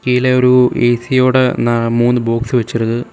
கீழ ஒரு ஏ_சியோட நா மூணு போக்ஸ் வெச்சிருக்கு.